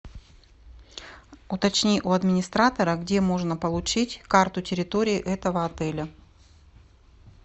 уточни у администратора где можно получить карту территории этого отеля